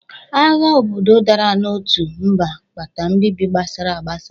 Agha obodo dara n’otu mba, kpata mbibi gbasara agbasa.